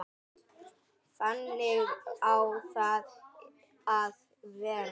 Þannig á það að vera.